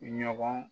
Ɲɔgɔn